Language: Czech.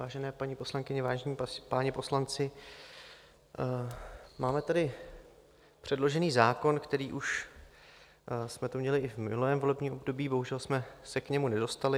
Vážené paní poslankyně, vážení páni poslanci, máme tady předložen zákon, který už jsme tu měli i v minulém volebním období, bohužel jsme se k němu nedostali.